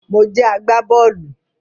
Mo jẹ agbá-bọ́ọ́lù